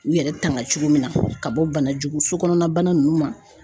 U yɛrɛ tanga cogo min na ka bɔ bana jugu sokɔnɔna bana nunnu ma.